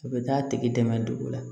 A bɛ taa tigi dɛmɛ dugu la